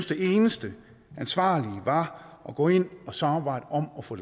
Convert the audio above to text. det eneste ansvarlige var at gå ind og samarbejde om at få